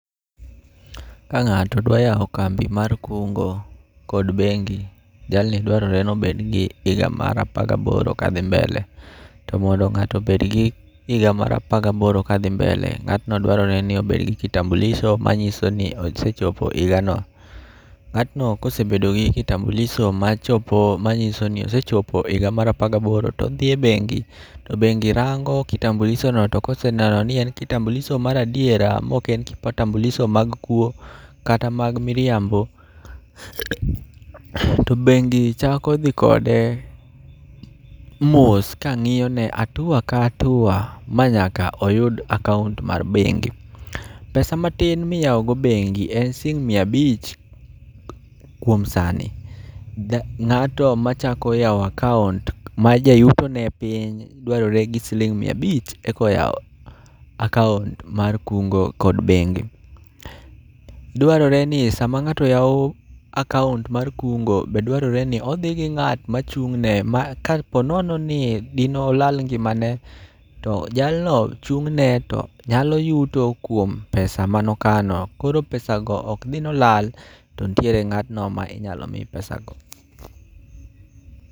Ka ng'ato dwa yao kambi mar kungo kod bengi, jalno dwaroreni obed gi higa mar apar ga boro ka dhi mbele. To mondo ng'ato obed gi higa mar par ga boro ka dhi mbele. Ngatno dwarore ni obed gi kitambulisho ma ng'iso ni osechopo higa mar par ga boro to odhi e bengi to bengi rango kitambulisho no to koseneno ni en kitambuluisho mar adiera ma ok en kitambulisho mar kwo kata mar miriambo to bengi chako dhi kode mos ka ng'iyo ne hatua ka hatua ma nyaka oyud akaunt mar bengi. Pesa matin mi iyawo go bengi en sing mia abich kuom sani. Ng'ato ma chako yawo akaunt ma jayuto ne piny dwarore gi sing mia biach ek ywa akuant mar kungo kod bengi. Dwarore ni sa ma ng'ato yawo akaunt mar kungo be dwarore ni odhi gi ng'at ma chung ne ma ka po nono ni di ne olal ngima ne to jalno chung' ne to nyalo yuto kuom pesa ma ne okano koro pesa go ok dhi ni olal to nitiere ng'atno ma inyalo mi pesa gi.